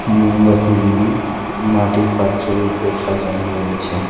মোমবাতিগুলি মাটির পাত্রের উপর সাজানো রয়েছে।